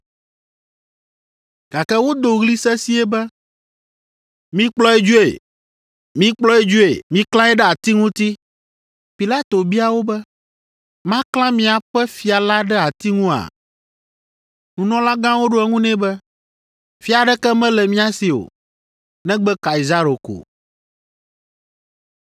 Gake wodo ɣli sesĩe be, “Mikplɔe dzoe! Mikplɔe dzoe! Miklãe ɖe ati ŋuti!” Pilato bia wo be, “Maklã miaƒe fia la ɖe ati ŋua?” Nunɔlagãwo ɖo eŋu nɛ be, “Fia aɖeke mele mía si o, negbe Kaisaro ko.”